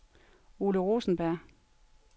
Ole Rosenberg